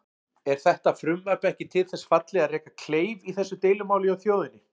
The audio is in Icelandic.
Er þetta frumvarp ekki til þess fallið að reka kleif í þessu deilumáli hjá þjóðinni?